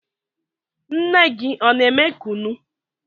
Nne gị ọ na-eme kunu?